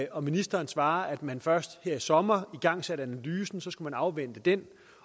og ministeren svarer at man først her i sommer igangsatte analysen så skulle man afvente den